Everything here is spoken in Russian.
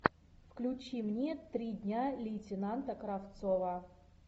включи мне три дня лейтенанта кравцова